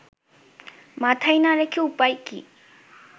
মাথায় না রেখে উপায় কী